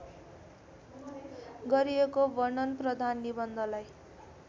गरिएको वर्णनप्रधान निबन्धलाई